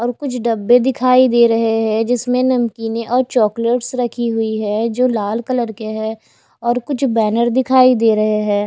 और कुछ डब्बे दिखाई दे रहे हैं जिसमें नमकीने और चॉकलेट्स रखी हुई है जो लाल कलर के है और कुछ बैनर दिखाई दे रहे हैं।